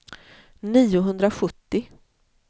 niohundrasjuttio